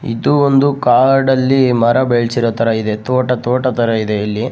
ಇದು ಒಂದು ಕಾಡಲ್ಲಿ ಮರ ಬೆಳ್ಸಿದ್ ತರ ಇದೆ ತೋಟ ತೋಟಥರ ಇದೆ ಇಲ್ಲಿ.